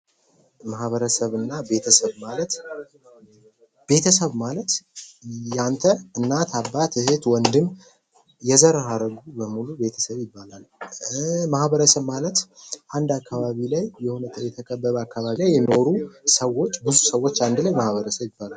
ማኅበረሰብ እና ቤተሰብ ማለት ቤተሰብ ማለት የአንተ እናት አባት እህት ወንድም የዘር ሀረጉ በሙሉ ቤተሰብ ይባላል ። ማኅበረሰብ ማለት አንድ አካባቢ ላይ የሆነ የተከበበ አካባቢ ላይ የሚኖሩ ሰዎች ብዙ ሰዎች አንድ ላይ ማኅበረሰብ ይባላል ።